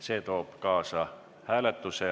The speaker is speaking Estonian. See toob kaasa hääletuse.